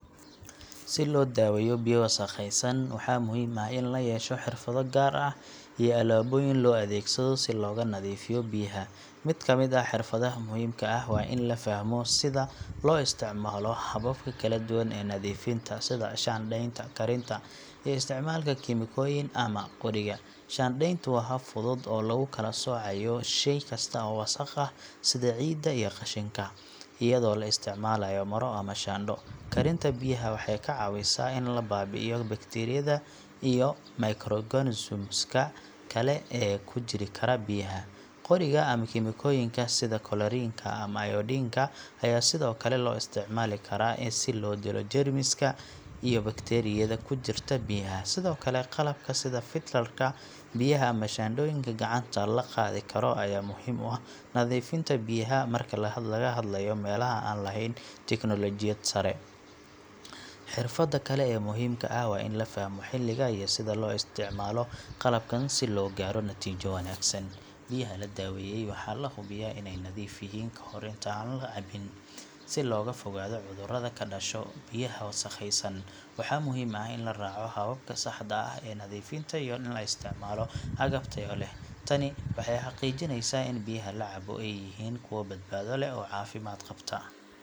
Si loo daweeyo biyo wasakhaysan, waxaa muhiim ah in la yeesho xirfado gaar ah iyo alaabooyin loo adeegsado si looga nadiifiyo biyaha. Mid ka mid ah xirfadaha muhiimka ah waa in la fahmo sida loo isticmaalo hababka kala duwan ee nadiifinta sida shaandhaynta, karinta, iyo isticmaalka kiimikooyin ama qoriga. Shaandhayntu waa hab fudud oo lagu kala soocayo shay kasta oo wasakh ah sida ciidda iyo qashinka, iyadoo la isticmaalayo maro ama shaandho. Karinta biyaha waxay ka caawisaa in la baabi'iyo bakteeriyada iyo microorganisms ka kale ee ku jiri kara biyaha. Qoriga ama kiimikooyinka sida chlorine ka ama iodine ka ayaa sidoo kale loo isticmaali karaa si loo dilo jeermiska iyo bakteeriyada ku jirta biyaha. Sidoo kale, qalabka sida filter ka biyaha ama shaandhooyinka gacanta la qaadi karo ayaa muhiim u ah nadiifinta biyaha marka laga hadlayo meelaha aan lahayn teknoolojiyad sare. Xirfadda kale ee muhiimka ah waa in la fahmo xilliga iyo sida loo isticmaalo qalabkan si loo gaaro natiijo wanaagsan. Biyaha la daweeyey waxaa la hubiyaa inay nadiif yihiin ka hor inta aan la cabbin. Si looga fogaado cudurrada ka dhasha biyaha wasakhaysan, waxaa muhiim ah in la raaco hababka saxda ah ee nadiifinta iyo in la isticmaalo agab tayo leh. Tani waxay xaqiijineysaa in biyaha la cabbo ay yihiin kuwo badbaado leh oo caafimaad qabta.